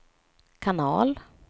kanal